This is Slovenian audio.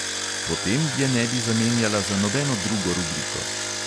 Potem je ne bi zamenjala za nobeno drugo rubriko!